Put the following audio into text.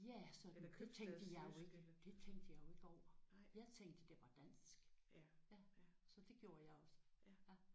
Ja sådan det tænkte jeg jo ikke det tænkte jeg jo ikke over. Jeg tænkte det var dansk. Så det gjorde jeg også